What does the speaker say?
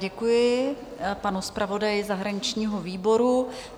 Děkuji panu zpravodaji zahraničního výboru.